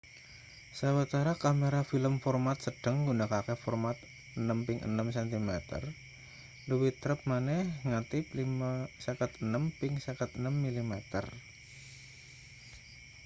sawetara kamera film format-sedheng nggunakake format 6 ping 6 cm luwih trep maneh negatip 56 ping 56 mm